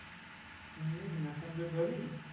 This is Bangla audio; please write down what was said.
নিয়ে মেসেঞ্জোর যাবি?